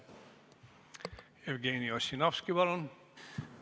Jevgeni Ossinovski, palun!